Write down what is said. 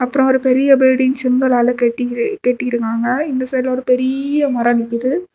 அப்புறம் ஒரு பெரிய பில்டிங் செங்களால கட்டி கட்டி இருக்காங்க இந்த சைடுல ஒரு பெரிய மரம் நிக்குது.